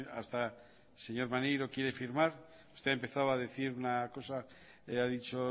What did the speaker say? hasta el señor maneiro quiere firmar usted ha empezado a decir una cosa ha dicho